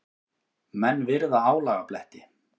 Menn virða álagabletti.